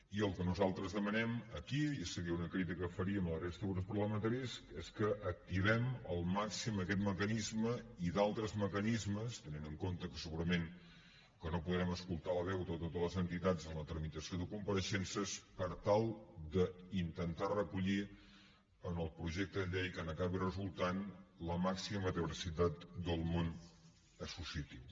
i el que nosaltres demanem aquí i seria una crítica que faríem a la resta de grups parlamentaris és que activem al màxim aquest mecanisme i d’altres mecanismes tenint en compte que segurament no podrem escoltar la veu de totes les entitats en la tramitació de compareixences per tal d’intentar recollir en el projecte de llei que n’acabi resultant la màxima diversitat del món associatiu